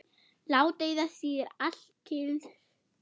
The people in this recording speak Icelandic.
Ládeyða þýðir alkyrr sjór.